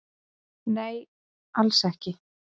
Nei, alls ekki